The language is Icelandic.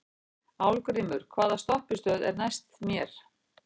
Álfgrímur, hvaða stoppistöð er næst mér?